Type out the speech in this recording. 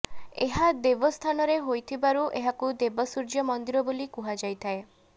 ଏହା ଦେବ ସ୍ଥାନରେ ହୋଇଥିବାରୁ ଏହାକୁ ଦେବ ସୂର୍ଯ୍ୟ ମନ୍ଦିର ବୋଲି କୁହାଯାଇଥାଏ